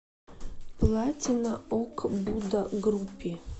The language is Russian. платина ог буда групи